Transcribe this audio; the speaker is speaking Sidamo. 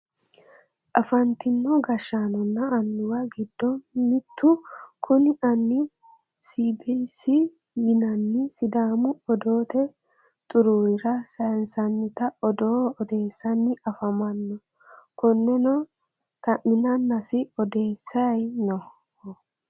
afantino gashshaanonna annuwa giddo mittu kuni anni sbc yinanni sidaamu odoote xuruurira saynsannita odoo odeessanni afamanno konneno dha'minannasi odeesayi nooho.